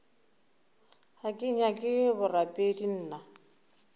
ga ke nyake borapedi nna